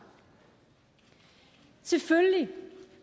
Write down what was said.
selvfølgelig